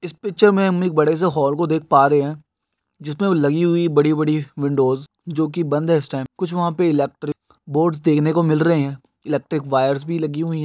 इस पिक्चर मे हम एक बड़े से हॉल को देख पा रहे है जिस मे लगी हुई बड़ी बड़ी विंडोज़ जो की बंध है इस टाइम कुछ वहा पर इलेक्ट्रिक बोर्ड देखने को मिलरहे है एलेक्ट्रिक्स वायर्स भी लगी हुई है।